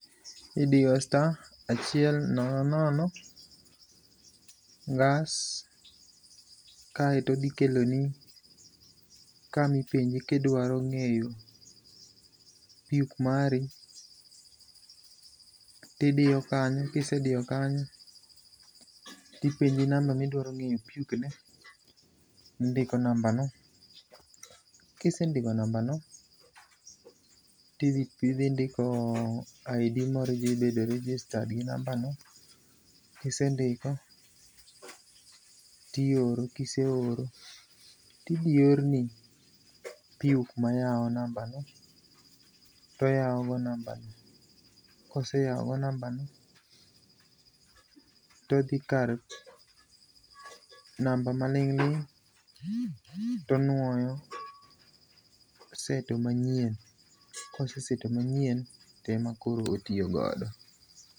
Idiyo star ,achiel nono nono, ngas, kaito odhi keloni kama ipenji kidwaro ng'eyo PUK mari, tidiyo kanyo kisediyo kanyo tipenji namba midwaro ngeyo PUK ne, indiko namba no, kisendiko namba no tindiko ID mobedo registered gi namba no, kisendiko tioro, kiseoro tidhi orni PUK ma yao nambano, to oyao go nambani, koseyao go nambani todhi kar namba maling'ling' to onuoyo, to oseto manyien, koseseto manyien to ema koro otiyo godo